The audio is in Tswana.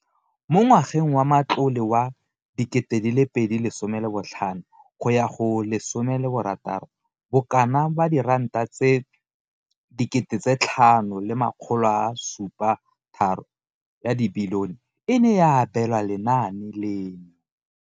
Mo ngwageng wa matlole wa 2015,16, bokanaka R5 703 bilione e ne ya abelwa lenaane leno.